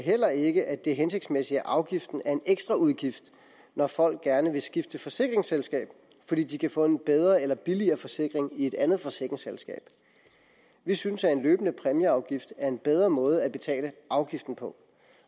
heller ikke at det er hensigtsmæssigt at afgiften er en ekstraudgift når folk gerne vil skifte forsikringsselskab fordi de kan få en bedre eller billigere forsikring i et andet forsikringsselskab vi synes at en løbende præmieafgift er en bedre måde at betale afgiften på